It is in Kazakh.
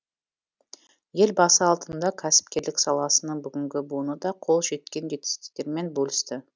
елбасы алдында кәсіпкерлік саласының бүгінгі буыны да қол жеткен жетістіктерімен бөлісті